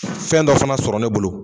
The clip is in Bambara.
Fɛn dɔ fana sɔrɔ ne bolo.